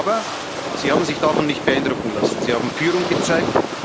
Aber Sie haben sich davon nicht beeindrucken lassen, Sie haben Führung gezeigt.